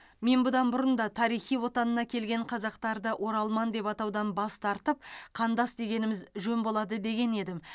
мен бұдан бұрын да тарихи отанына келген қазақтарды оралман деп атаудан бас тартып қандас дегеніміз жөн болады деген едім